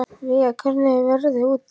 Veiga, hvernig er veðrið úti?